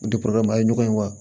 a ye ɲɔgɔn ye wa